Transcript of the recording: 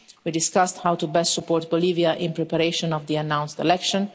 We discussed how best to support Bolivia in preparation for the announced election.